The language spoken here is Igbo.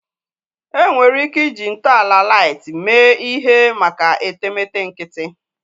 Enwere ike iji ntọala light mee ihe maka etemeete nkịtị